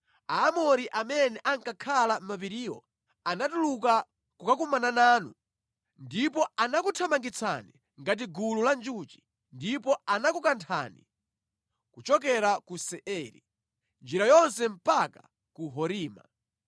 Aamori amene ankakhala mʼmapiriwo anatuluka kukakumana nanu ndipo anakuthamangitsani ngati gulu la njuchi ndipo anakukanthani kuchokera ku Seiri, njira yonse mpaka ku Horima.